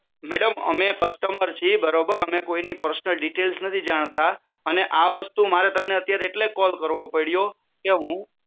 madam અમે customer છીએ બરોબર અમે કોઈ ની પર્સનલ ડીટેલ્સ નથી જાણતા અને આ વસ્તુ મારે તમને અત્યારે એટલે જ કોલ કરવો પડ્યો કે હુ